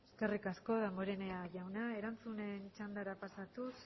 eskerrik asko damborenea jauna erantzunen txandara pasatuz